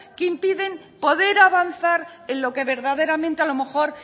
que impiden poder avanzar en lo que verdaderamente a lo mejor